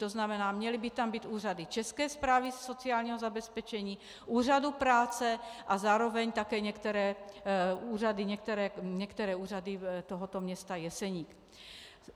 To znamená, měly by tam být úřady České správy sociálního zabezpečení, úřadu práce a zároveň také některé úřady tohoto města Jeseník.